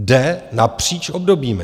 Jde napříč obdobími.